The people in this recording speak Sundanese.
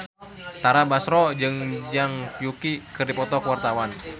Tara Basro jeung Zhang Yuqi keur dipoto ku wartawan